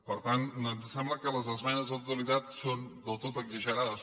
per tant ens sembla que les esmenes a la totalitat són del tot exagerades